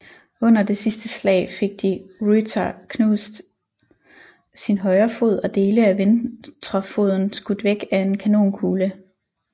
Under det sidste slag fik de Ruyter knust sin højre fod og dele af ventrefoden skudt væk af en kanonkugle